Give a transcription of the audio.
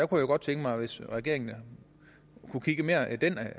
kunne godt tænke mig hvis regeringen kunne kigge mere i den